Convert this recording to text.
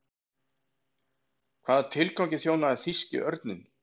Hvaða tilgangi þjónaði þýski örninn?